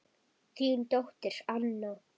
Þín dóttir Anna.